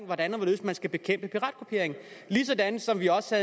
hvordan og hvorledes man skal bekæmpe piratkopiering ligesom vi også